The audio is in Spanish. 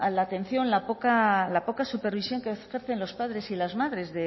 la atención la poca supervisión que ejercen los padres y las madres